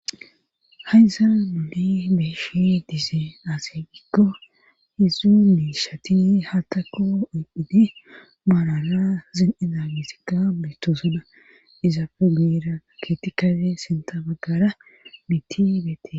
Hassaraa nuuni be'ishi diizeen aaze gikko heedzdzu miishatini haththakko oyphidi maarala zin7izamesika beetosoda izaappe goyera keeththi qase sintha baggara miththi beetees.